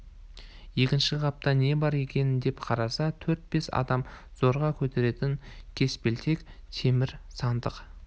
екінші қапта не бар екен деп қараса төрт-бес адам зорға көтеретін кеспелтек темір сандық